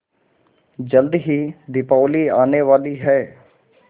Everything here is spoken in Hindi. जल्दी ही दीपावली आने वाली है